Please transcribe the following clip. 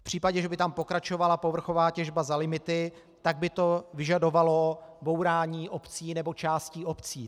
V případě, že by tam pokračovala povrchová těžba za limity, tak by to vyžadovalo bourání obcí nebo částí obcí.